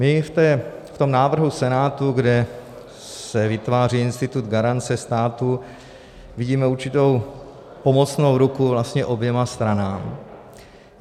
My v tom návrhu Senátu, kde se vytváří institut garance státu, vidíme určitou pomocnou ruku vlastně oběma stranám.